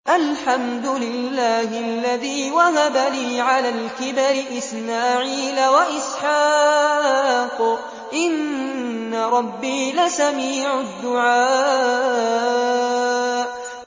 الْحَمْدُ لِلَّهِ الَّذِي وَهَبَ لِي عَلَى الْكِبَرِ إِسْمَاعِيلَ وَإِسْحَاقَ ۚ إِنَّ رَبِّي لَسَمِيعُ الدُّعَاءِ